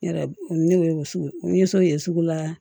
Ne yɛrɛ ne wo sugu ye sugu la